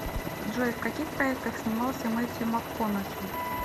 джой в каких проектах снимался мэттью макконахи